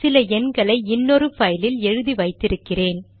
சில எண்களை இன்னொரு பைலில் எழுதி வைத்தி இருக்கிறேன்